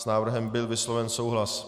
S návrhem byl vysloven souhlas.